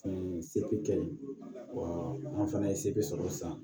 se bɛ kɛ ye wa an fana ye se bɛ sɔrɔ sisan